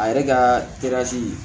A yɛrɛ ka